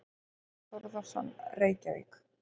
Einar Þórðarson, Reykjavík.